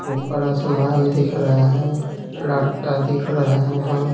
ऊपर आसमान दिख रहा है लड़का दिख रहा है।